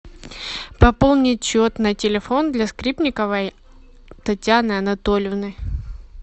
пополнить счет на телефон для скрипниковой татьяны анатольевны